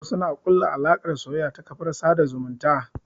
Wasu na ƙulla alaƙar soyayya ta kafar sada zumunta.